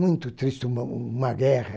Muito triste uma uma guerra.